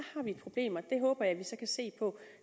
har vi et problem og det håber jeg at vi så kan se på